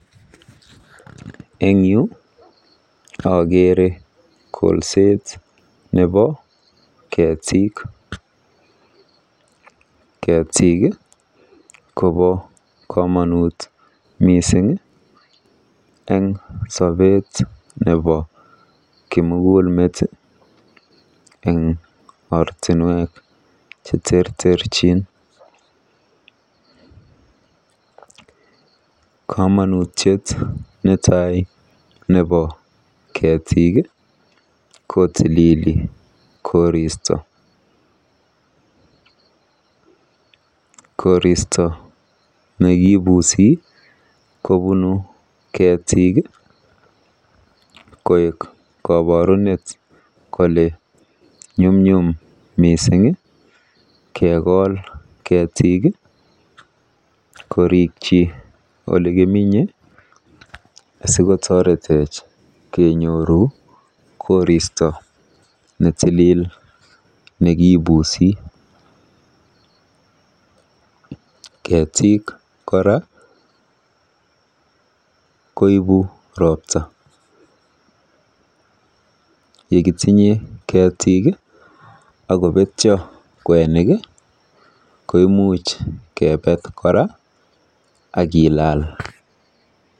Eng yu akeere kolset nebo keetik. Ketik kobo komonut mising eng sobet nebo kimukulmet eng ortinwek cheterterchin. Komonutiet netai nebo keetik kotilili koristo. Koristo nekibuusi kobunu ketik koek koborunet kole nyumnyum mising keekol ketik korikyi olekiminye asikotoretech kenyoru koristo netilil nekibuusi. Keetik kora koibu ropta. Yekitinye keetik akobetyo kwenik koimuch keebet kora akiilal.